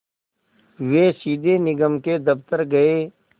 वे सीधे निगम के दफ़्तर गए